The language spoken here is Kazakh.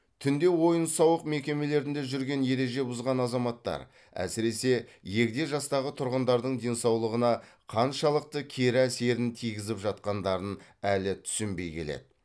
түнде оиын сауық мекемелерінде жүрген ереже бұзған азаматтар әсіресе егде жастағы тұрғындардың денсаулығына қаншалықты кері әсерін тигізіп жатқандарын әлі түсінбеи келеді